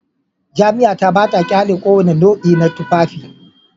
Jami'a ta ba ta ƙyale kowane nau'i na tufafi